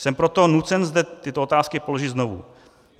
Jsem proto nucen zde tyto otázky položit znovu.